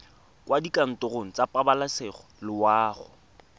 kwa dikantorong tsa pabalesego loago